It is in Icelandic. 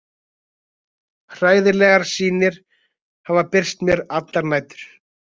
Hræðilegar sýnir hafa birst mér allar nætur.